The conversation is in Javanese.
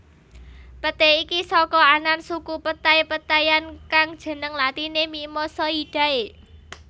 Peté iki saka anan suku petai petaian kang jeneng latiné Mimosoidae